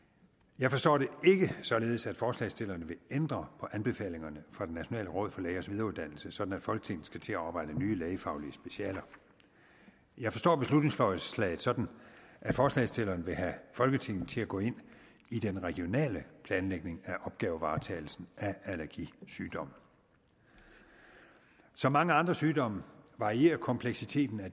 jeg forstår det ikke således at forslagsstillerne vil ændre på anbefalingerne fra det nationale råd for lægers videreuddannelse sådan at folketinget skal til at oprette nye lægefaglige specialer jeg forstår beslutningsforslaget sådan at forslagsstillerne vil have folketinget til at gå ind i den regionale planlægning af opgavevaretagelsen af allergisygdom som mange andre sygdomme varierer kompleksiteten af